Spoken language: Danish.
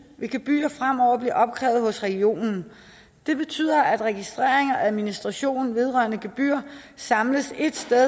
vil gebyrer fremover bliver opkrævet hos regionen det betyder at registrering og administration vedrørende gebyrer samles ét sted i